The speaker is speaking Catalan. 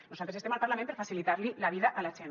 nosaltres estem al parlament per facilitar li la vida a la gent